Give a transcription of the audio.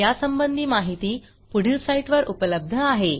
यासंबंधी माहिती पुढील साईटवर उपलब्ध आहे